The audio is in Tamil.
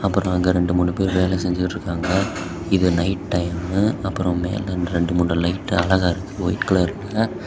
அப்புறம் அங்க ரெண்டு மூணு பேரும் வேலை செஞ்சிட்டு இருக்காங்க. இது நைட் டைம்மு . அப்புறம் மேல ரெண்டு மூணு லைட் அழகா இருக்கு ஒயிட் கலர்ல .